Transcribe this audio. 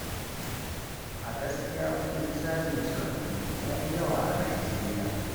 A gaskiya kuɗin cajin cire kuɗi ya yi yawa a najeriya.